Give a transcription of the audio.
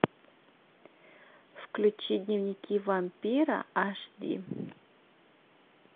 включи дневники вампира аш ди